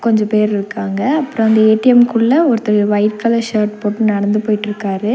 கொஞ்ச பேர்ருக்காங்க அப்றொ அந்த ஏ_டி_எம் குள்ள ஒருத்தரு ஒயிட் கலர் ஷர்ட் போட்டு நடந்து போயிட்ருக்காரு.